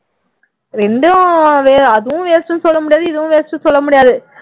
இரண்டும் அதுவும் waste ன்னு சொல்ல முடியாது இதுவும் waste ன்னு சொல்ல முடியாது